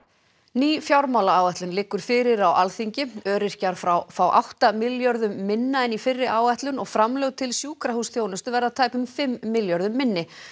ný fjármálaáætlun liggur fyrir á Alþingi öryrkjar fá fá átta milljörðum minna en í fyrri áætlun og framlög til sjúkrahúsþjónustu verða tæpum fimm milljörðum minni